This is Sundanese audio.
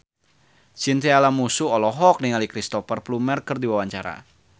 Chintya Lamusu olohok ningali Cristhoper Plumer keur diwawancara